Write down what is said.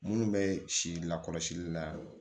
Minnu bɛ si lakɔlɔsili la